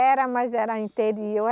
Era, mas era interior.